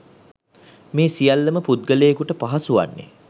මේ සියල්ල ම පුද්ගලයකුට පහසු වන්නේ